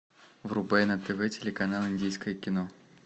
врубай на тв телеканал индийское кино